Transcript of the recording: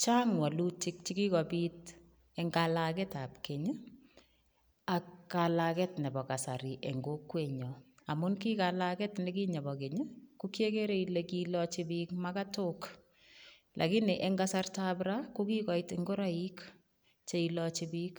Chang walutik chekikopit eng kalake ap keny ak kalaket nepo kasari eng kokwenyo amu kikalaket nekinye po Kenya ko kiekere ile kilochipiik makatok lakini eng kasarta ap ra kokikoit ngoroik cheilochi piik